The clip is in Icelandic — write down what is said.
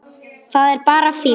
Það er bara fínt.